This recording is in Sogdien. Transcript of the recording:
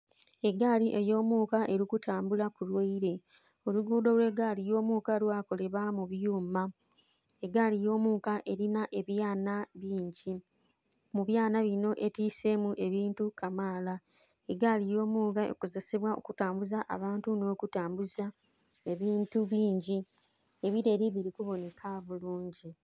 Egaali eyomuka elikumbala kulwaire, olugudho olwaigaali eyomuka lwakolebwa mubyuma. Egaali eyomuka erinha ebyaana bingi, mubyaana binho etisemu ebintu kamala, egaali eyomuka ekozesebwa kutambuza abantu nho kutambuza ebintu bingi, ebirere bikubonheka bulungi.